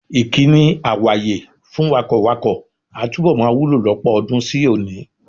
Ìkíni "àwàye" fún wakọ̀wakọ̀ a túbọ̀ máa wúlò lọ́pọ̀ ọdún sí òní.